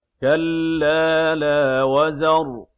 كَلَّا لَا وَزَرَ